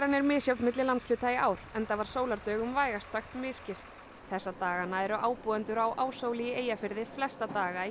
er misjöfn milli landshluta í ár enda var sólardögum vægast sagt misskipt þessa dagana eru ábúendur á Áshóli í Eyjafirði flesta daga í